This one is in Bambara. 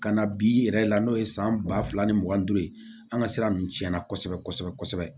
Ka na bi yɛrɛ la n'o ye san ba fila ni mugan ni duuru ye an ka sira nunnu cɛn na kosɛbɛ kosɛbɛ kosɛbɛ